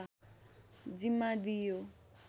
जिम्मा दिइयो